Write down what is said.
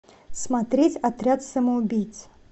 смотреть отряд самоубийц